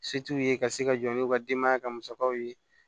Se t'u ye ka se ka jɔ n'u ka denbaya ka musakaw ye